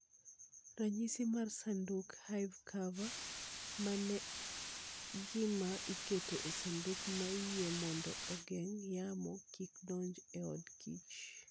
Ranyisi mar Sanduk (Hive Cover) Ma en gima iketo e sanduk ma iye mondo ogeng' yamo kik donj e od kich.